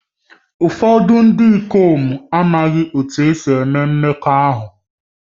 Ụfọdụ ndị ikom amaghị otú e si eme mmekọahụ